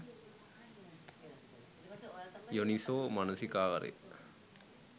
යෝනිසෝ මනසිකාරය